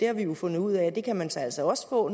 har jo fundet ud af at der kan man altså også få